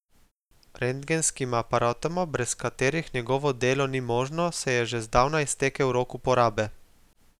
Rentgenskima aparatoma, brez katerih njegovo delo ni možno, se je že zdavnaj iztekel rok uporabe.